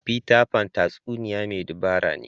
Peter Pan tatsuniya mai dabara ne.